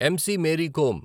MC. Mary come